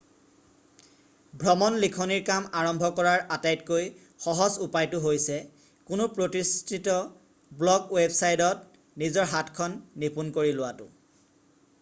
ভ্ৰমণ লিখনিৰ কাম আৰম্ভ কৰাৰ আটাইতকৈ সহজ উপায়টো হৈছে কোনো প্ৰতিষ্ঠিত ব্লগ ৱেবচাইটত নিজৰ হাতখন নিপুন কৰি লোৱাটো